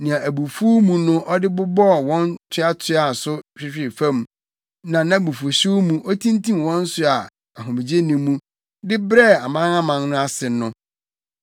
nea abufuw mu no ɔde bobɔɔ wɔn toatoaa so hwehwee fam, na abufuwhyew mu otintim wɔn so a ahomegye nni mu de brɛɛ amanaman no ase no.